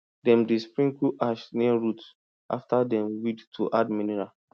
we dey use sugar water to carry ant go away from where fruit dey grow.